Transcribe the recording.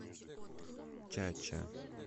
чача